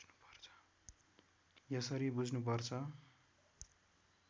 यसरी बुझ्नुपर्छ